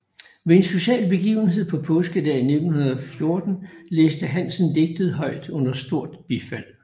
Ved en social begivenhed påskedag 1914 læste Hansen digtet højt under stort bifald